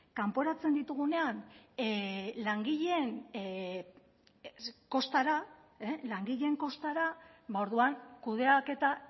kanporatzen ditugunean langileen kostara orduan kudeaketa